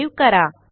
save करा